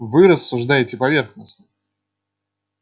вы рассуждаете поверхностно